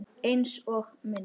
Einsog minn.